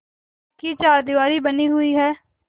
पक्की चारदीवारी बनी हुई है